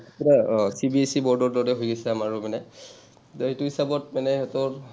কিবা অ CBSEboard ৰ দৰে হৈ গৈছে আমাৰো মানে, এতিয়া সেইটো হিচাপত মানে সিহঁতৰ